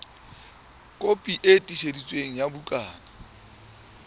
kopi e tiiseditsweng ya bukana